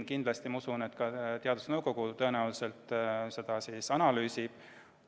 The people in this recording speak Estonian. Ma usun, et ka teadusnõukoda seda tõenäoliselt analüüsib.